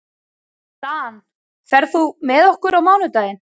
Dan, ferð þú með okkur á mánudaginn?